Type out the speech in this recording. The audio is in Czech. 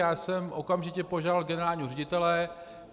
Já jsem okamžitě požádal generálního ředitele.